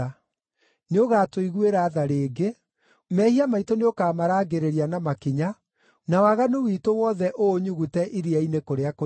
Nĩũgatũiguĩra tha rĩngĩ, mehia maitũ nĩũkamarangĩrĩria na makinya, na waganu witũ wothe ũũnyugute iria-inĩ kũrĩa kũriku.